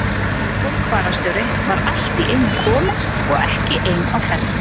Sólborg fararstjóri var allt í einu komin og ekki ein á ferð.